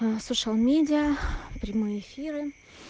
слушал медиа прямые эфиры